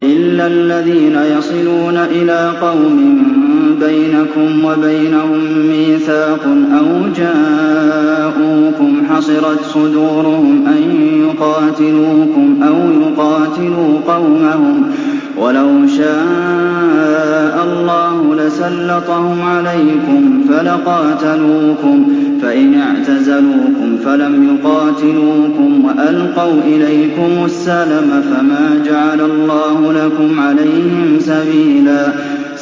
إِلَّا الَّذِينَ يَصِلُونَ إِلَىٰ قَوْمٍ بَيْنَكُمْ وَبَيْنَهُم مِّيثَاقٌ أَوْ جَاءُوكُمْ حَصِرَتْ صُدُورُهُمْ أَن يُقَاتِلُوكُمْ أَوْ يُقَاتِلُوا قَوْمَهُمْ ۚ وَلَوْ شَاءَ اللَّهُ لَسَلَّطَهُمْ عَلَيْكُمْ فَلَقَاتَلُوكُمْ ۚ فَإِنِ اعْتَزَلُوكُمْ فَلَمْ يُقَاتِلُوكُمْ وَأَلْقَوْا إِلَيْكُمُ السَّلَمَ فَمَا جَعَلَ اللَّهُ لَكُمْ عَلَيْهِمْ سَبِيلًا